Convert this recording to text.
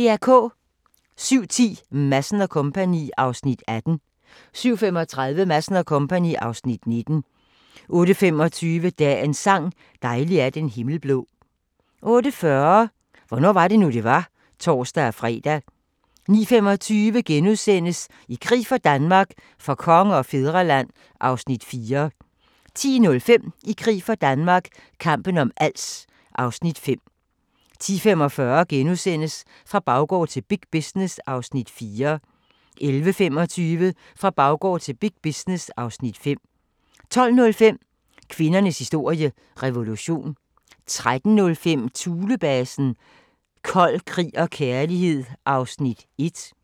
07:10: Madsen & Co. (Afs. 18) 07:35: Madsen & Co. (Afs. 19) 08:25: Dagens sang: Dejlig er den himmel blå 08:40: Hvornår var det nu, det var? (tor-fre) 09:25: I krig for Danmark - for konge og fædreland (Afs. 4)* 10:05: I krig for Danmark – kampen om Als (Afs. 5) 10:45: Fra baggård til big business (Afs. 4)* 11:25: Fra baggård til big business (Afs. 5) 12:05: Kvindernes historie – revolution 13:05: Thulebasen – Kold krig og kærlighed (1:2)